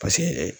Paseke